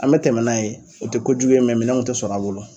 An me tɛmɛ n'a ye o te kojugu ye mɛ minɛnw te sɔrɔ a bolo